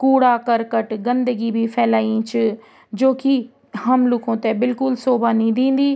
कूड़ा करकट गन्दगी भी फैलई च जोकि हम लुखु थे बिलकुल शोभा नी दिंदी।